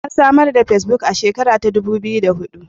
Ansamarda fesbuk a shekara ta dubu biyu da hudu.